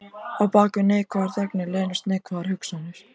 Á bak við neikvæðar þagnir leynast neikvæðar hugsanir.